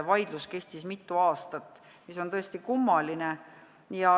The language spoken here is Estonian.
Vaidlus kestis mitu aastat, mis oli tõesti kummaline.